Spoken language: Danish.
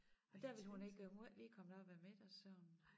Nej der ville hun ikke øh hun var ikke lige kommet op af middagssøvnen